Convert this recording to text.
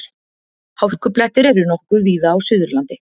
Hálkublettir eru nokkuð víða á Suðurlandi